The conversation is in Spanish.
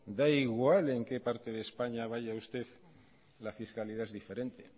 da igual en que parte de españa vaya usted la fiscalidad es diferente